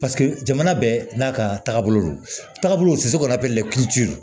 paseke jamana bɛɛ n'a ka taabolo don taabolo to sekɔrɔ bɛ lɛ